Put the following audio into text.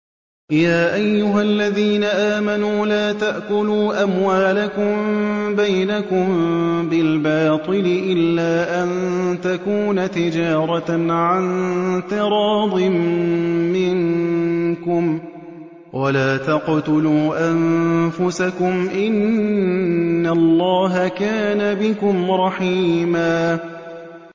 يَا أَيُّهَا الَّذِينَ آمَنُوا لَا تَأْكُلُوا أَمْوَالَكُم بَيْنَكُم بِالْبَاطِلِ إِلَّا أَن تَكُونَ تِجَارَةً عَن تَرَاضٍ مِّنكُمْ ۚ وَلَا تَقْتُلُوا أَنفُسَكُمْ ۚ إِنَّ اللَّهَ كَانَ بِكُمْ رَحِيمًا